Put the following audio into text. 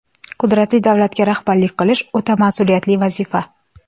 Qudratli davlatga rahbarlik qilish – o‘ta mas’uliyatli vazifa.